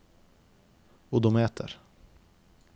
odometer